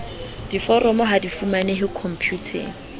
diforomo ha di fumanehe khomputeng